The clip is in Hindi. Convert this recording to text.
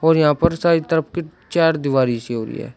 और यहां पर साई तरफ के चारदीवारी से हो गया।